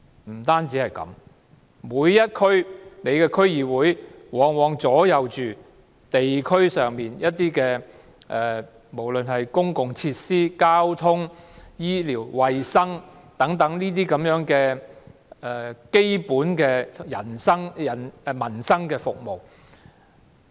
不單如此，每一區的區議會往往左右着地區上的公共設施、交通、醫療、衞生等基本民生服務。